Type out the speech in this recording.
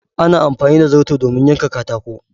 Ana Amfani da zarto domin yanka katako.